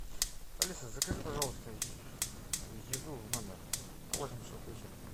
алиса закажи пожалуйста еду в номер на восемь часов вечера